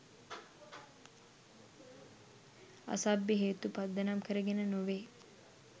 අසභ්‍ය හේතු පදනම් කරගෙන නොවෙයි.